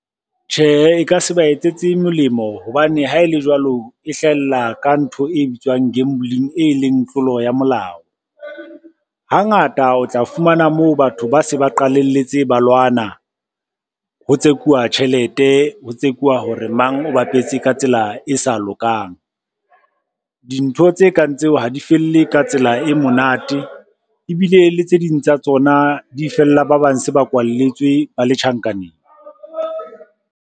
Tjhehe, e ka se ba etsetse molemo hobane ha e le jwalo, e hlahella ka ntho e bitswang gambling, e leng tlolo ya molao. Hangata o tla fumana moo batho ba se ba qalalletse balwana, ho tsekuwa tjhelete, ho tsekuwa hore mang o bapetse ka tsela e sa lokang. Dintho tse kang tseo ha di felle ka tsela e monate ebile le tse ding tsa tsona di fella ba bang se ba kwalletswe ba le tjhankaneng.